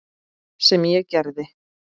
Sem ég gerði.